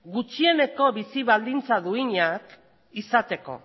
gutxieneko bizi baldintza duinak izateko